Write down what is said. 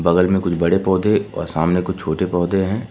बगल में कुछ बड़े पौधे और सामने कुछ छोटे पौधे हैं।